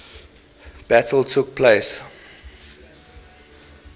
battle took place